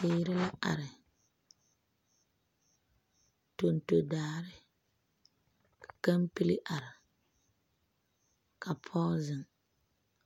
Teereŋ are tonto daare ka kampeli are ka pɔge zeŋ